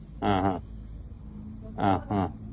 ആഹ് ആ